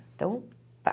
Então, pá.